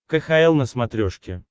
кхл на смотрешке